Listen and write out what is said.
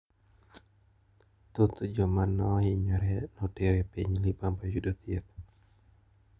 Thoth jomanohinyore noter e piny libamba yudo thieth.